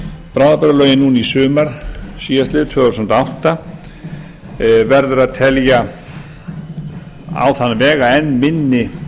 bráðabirgðalögin núna í sumar síðastliðin tvö þúsund og átta verður að telja á þann veg að enn minni